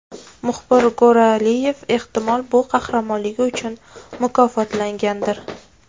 Muxbir Go‘ro‘g‘liyev, ehtimol, bu qahramonligi uchun mukofotlangandir.